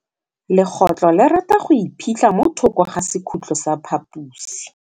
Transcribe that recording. Legôtlô le rata go iphitlha mo thokô ga sekhutlo sa phaposi.